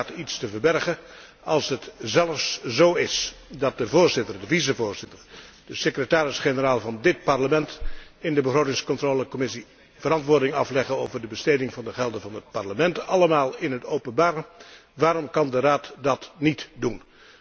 Heeft de Raad iets te verbergen? Als het zelfs zó is dat de Voorzitter, de vicevoorzitter, de secretaris generaal van dít Parlement in de Commissie begrotingscontrole verantwoording afleggen over de besteding van de gelden van het Parlement, allemaal in het openbaar, waarom kan de Raad dat níet doen?